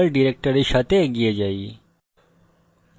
এখন default directory সাথে এগিয়ে যাই